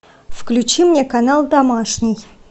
включи мне канал домашний